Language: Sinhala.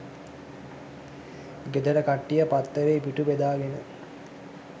ගෙදර කට්ටිය පත්තරේ පිටු බෙදාගෙන